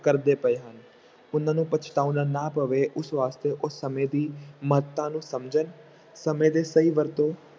ਕਰਦੇ ਪਏ ਹਨ, ਉਹਨਾਂ ਨੂੰ ਪਛਤਾਉਣਾ ਨਾ ਪਵੇ ਉਸ ਵਾਸਤੇ ਉਹ ਸਮੇਂ ਦੀ ਮਹੱਤਤਾ ਨੂੰ ਸਮਝਣ ਸਮੇਂ ਦੇ ਸਹੀ ਵਰਤੋਂ